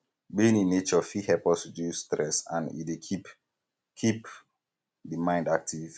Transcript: being in nature fit help us reduce stress and e dey keep keep di mind active